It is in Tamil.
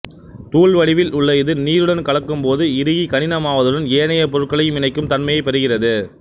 தூள் வடிவில் உள்ள இது நீருடன் கலக்கும்போது இறுகிக் கடினமாவதுடன் ஏனைய பொருட்களையும் இணைக்கும் தன்மையைப் பெறுகிறது